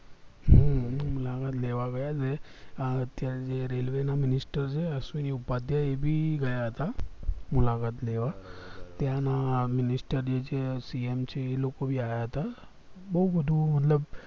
અમે દેવા ગયા ને આ જે railway ના minister છે અશ્વિન ઉપાધ્યાય એ ભી ગયા હતા મુલાકાત લેવા ત્યાં ના minister જે છે cm છે એ લોકો ભી આયા હતા બૌ મોટું મતલબ